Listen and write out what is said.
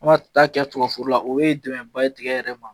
An bi taa kɛ tigɛo foro la o ye dɛmɛnba ye tigɛ yɛrɛ ma